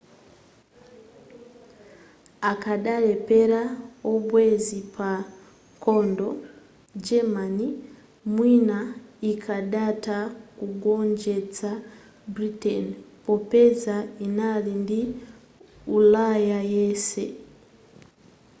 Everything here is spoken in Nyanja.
akadalephera abwenzi pa nkhondo german mwina ikadatha kugonjetsa britain popeza inali ndi ulaya yense